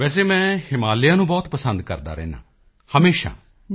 ਵੈਸੇ ਮੈਂ ਹਿਮਾਲਿਆ ਨੂੰ ਬਹੁਤ ਪਸੰਦ ਕਰਦਾ ਰਹਿੰਦਾ ਹਾਂ ਹਮੇਸ਼ਾ